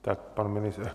Tak pan ministr...